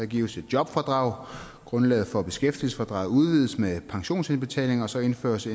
gives et jobfradrag grundlaget for beskæftigelsesfradraget udvides med pensionsindbetalinger og så indføres